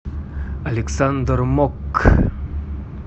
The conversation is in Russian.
александр мок